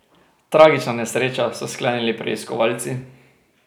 Tragična nesreča, so sklenili preiskovalci.